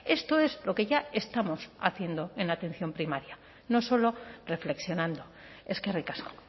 esto es lo que ya estamos haciendo en la atención primaria no solo reflexionando eskerrik asko